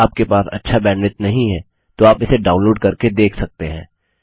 यदि आपके पास अच्छा बैंडविड्थ नहीं है तो आप इसे डाउनलोड करके देख सकते हैं